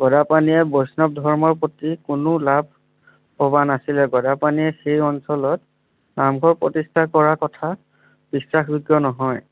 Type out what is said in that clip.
গদাপাণিয়ে বৈষ্ণৱ ধৰ্মৰ প্ৰতি কোনো লাভ ভবা নাছিলে। গদাপাণিয়ে সেই অঞ্চলত নামঘৰ প্ৰতিষ্ঠা কৰাৰ কথা বিশ্বাস যোগ্য নহয়।